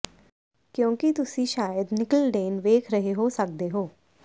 ਕਿਉਂਕਿ ਤੁਸੀਂ ਸ਼ਾਇਦ ਨਿੱਕਲਡੇਨ ਵੇਖ ਰਹੇ ਹੋ ਸਕਦੇ ਹੋ